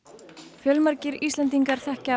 fjölmargir Íslendingar þekkja